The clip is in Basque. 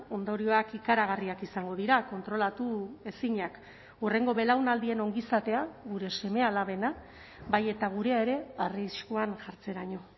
ondorioak ikaragarriak izango dira kontrolatu ezinak hurrengo belaunaldien ongizatea gure seme alabena bai eta gurea ere arriskuan jartzeraino